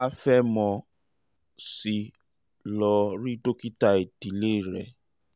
tó o bá fẹ́ mọ̀ sí i lọ rí dókítà ìdílé rẹ